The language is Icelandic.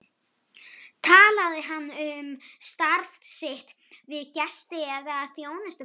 Talaði hann um starf sitt við gesti eða þjónustufólk?